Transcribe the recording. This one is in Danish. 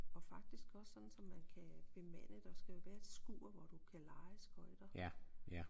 Og faktisk også sådan så man kan bemande der skal jo være et skur hvor du kan leje skøjter